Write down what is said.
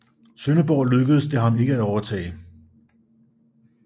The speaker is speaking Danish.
Sønderborg lykkedes det ham ikke at overtage